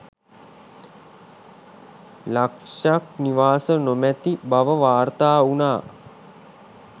ලක්ෂක් නිවාස නොමැති බව වාර්තා වුණා.